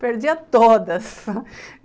Perdia todas.